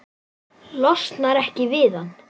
Losnar ekki við hann.